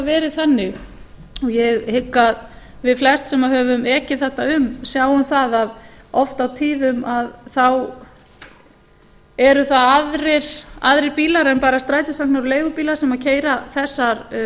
verið þannig og ég hygg að við flest sem höfum ekið þarna um sjáum að oft á tíðum eru það aðrir bílar en bara strætisvagnar og leigubílar sem keyra þessar